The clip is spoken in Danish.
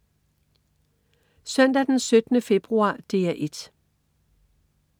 Søndag den 17. februar - DR 1: